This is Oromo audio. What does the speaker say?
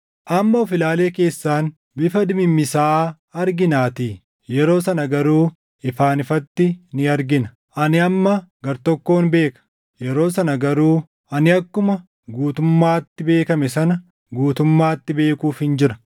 Amma of-ilaalee keessaan bifa dimimmisaaʼaa arginaatii; yeroo sana garuu ifaan ifatti ni argina. Ani amma gartokkon beeka; yeroo sana garuu ani akkuma guutummaatti beekame sana guutummaatti beekuufin jira.